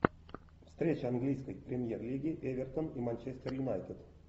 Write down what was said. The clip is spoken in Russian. встреча английской премьер лиги эвертон и манчестер юнайтед